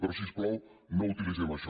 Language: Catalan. però si us plau no utilitzem això